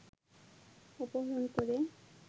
অপহরণ করে